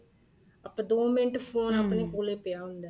ਆਪਾਂ ਦੋ minute phone ਆਪਣੇ ਕੋਲੇ ਪਇਆ ਹੁੰਦਾ ਏ